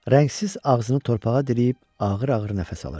Rəngsiz ağzını torpağa dirəyib ağır-ağır nəfəs alırdı.